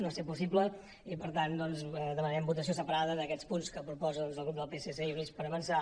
no ha set possible i per tant doncs demanem votació separada d’aquests punts que proposa el grup del psc i units per avançar